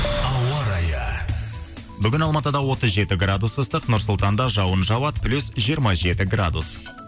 ауа райы бүгін алматыда отыз жеті градус ыстық нұр сұлтанда жауын жауады плюс жиырма жеті градус